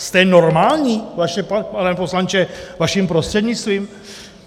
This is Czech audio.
Jste normální, pane poslanče vaším prostřednictvím?